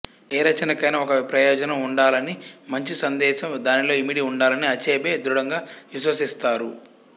ఏ రచనకైనా ఒక ప్రయోజనం ఉండాలని మంచి సందేశం దానిలో ఇమిడి ఉండాలని అచెబె దృఢంగా విశ్వసిస్తారు